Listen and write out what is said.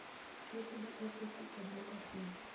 thothgi oketi e bwo kafiu.